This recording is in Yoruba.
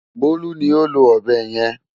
Bólú ni ó lo ọ̀bẹ yẹn.